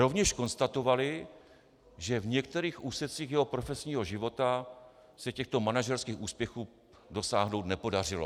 Rovněž konstatovali, že v některých úsecích jeho profesního života se těchto manažerských úspěchů dosáhnout nepodařilo."